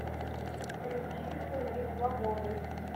включи сыны свободы